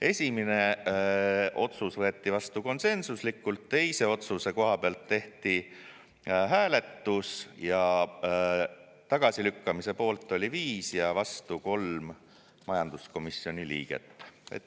Esimene otsus võeti vastu konsensuslikult, teise otsuse koha pealt tehti hääletus ja tagasilükkamise poolt oli 5 ja vastu 3 majanduskomisjoni liiget.